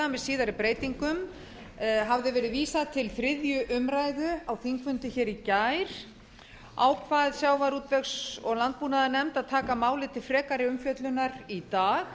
með síðari breytingu hafði verið vísað til þriðju umræðu á þingfundi í gær ákveð sjávarútvegs og landbúnaðarnefnd að taka málið til frekari umfjöllunar í dag